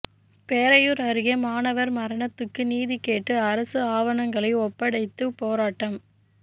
பேரையூர் அருகே மாணவர் மரணத்துக்கு நீதிகேட்டு அரசு ஆவணங்களை ஒப்படைத்து போராட்டம்